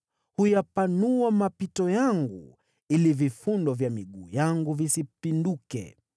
Huyapanua mapito yangu, ili miguu yangu isiteleze.